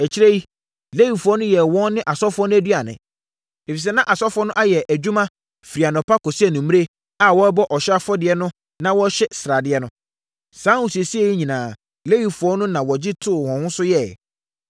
Akyire yi, Lewifoɔ yɛɛ wɔn ne asɔfoɔ no aduane, ɛfiri sɛ, na asɔfoɔ no ayɛ adwuma firi anɔpa kɔsi anadwo a wɔrebɔ ɔhyeɛ afɔdeɛ no na wɔrehye sradeɛ no. Saa ahosiesie yi nyinaa, Lewifoɔ no na wɔgye too wɔn ho so yɛeɛ.